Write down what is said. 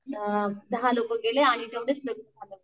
अ दहा लोकं गेले आणि तेवढेच